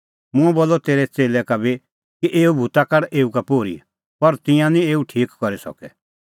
मंऐं बोलअ तेरै च़ेल्लै का बी कि एऊ भूता काढा एऊ का पोर्ही पर तिंयां निं एऊ ठीक करी सकै